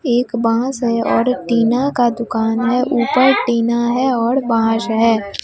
एक बांस है और टीना का दुकान हैं ऊपर टीना हैं और बांस है।